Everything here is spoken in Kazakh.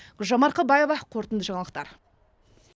гүлжан марқабаева қорытынды жаңалықтар